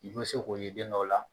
I bɛ se k'o ye den dɔw la.